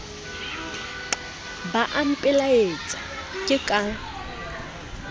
bo a mpelaetsa ke ka